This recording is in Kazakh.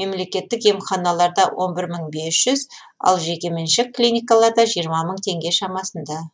мемлекеттік емханаларда он бір мың бес жүз ал жекеменшік клиникаларда жиырма мың теңге шамасында